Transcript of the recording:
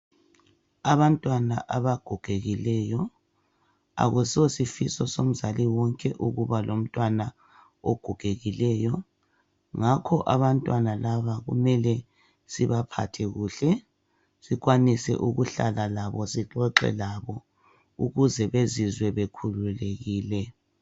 Abantwana abagogekileyo. Akuso sifiso somzali wonke ukuba lomntwana ogogekileyo. Ngakho abantwana laba kumele sibaphathe kuhle, sikwanise ukuhlala labo, sixoxe labo ukuze bezizwe bekhululekile.